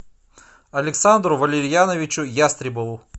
александру валерьяновичу ястребову